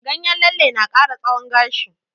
Ganyen lalle na ƙara tsawon gashi.